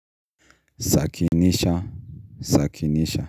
Zakinisha, Zakinisha.